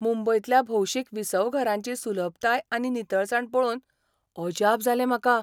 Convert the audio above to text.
मुंबयंतल्या भौशीक विसवघरांची सुलभताय आनी नितळसाण पळोवन अजाप जालें म्हाका.